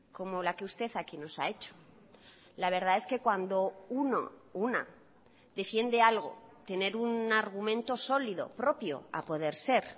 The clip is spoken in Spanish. como la que usted aquí nos ha hecho la verdad es que cuando uno o una defiende algo tener un argumento sólido propio a poder ser